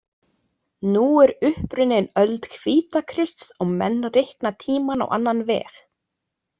Nú er upp runnin öld Hvítakrists og menn reikna tímann á annan veg.